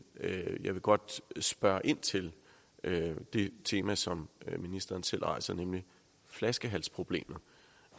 jeg vil godt spørge ind til det tema som ministeren selv rejser nemlig flaskehalsproblemet